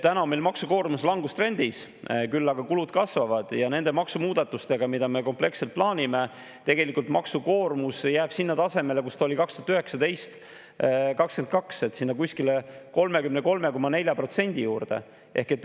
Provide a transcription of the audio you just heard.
Täna on meil maksukoormus küll langustrendis, aga kulud kasvavad, ja nende maksumuudatustega, mida me kompleksselt plaanime, jääb tegelikult maksukoormus sellele tasemele, kus see oli 2019–2022, kuskil 33,4%.